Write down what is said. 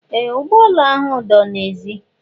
Ee! Ụgbọala ahụ dọ n'èzí